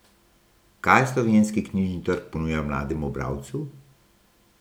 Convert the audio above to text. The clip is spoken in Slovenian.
Kaj slovenski knjižni trg ponuja mlademu bralcu?